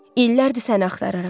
İllərdir səni axtarıram.